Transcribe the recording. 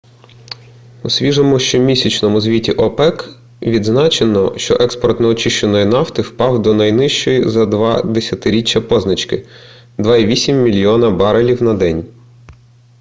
у свіжому щомісячному звіті опек відзначено що експорт неочищеної нафти впав до найнижчої за два десятиріччя позначки - 2,8 мільйона барелів на день